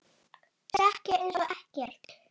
Sekk ég einsog ekkert.